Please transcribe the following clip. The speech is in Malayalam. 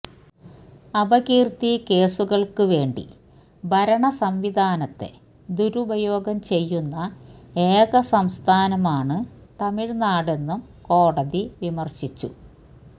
അപകീര്ത്തി കേസുകള്ക്ക് വേണ്ടി ഭരണസംവിധാനത്തെ ദുരുപയോഗം ചെയ്യുന്ന ഏക സംസ്ഥാനമാണ് തമിഴ്നാടെന്നും കോടതി വിമര്ശിച്ചു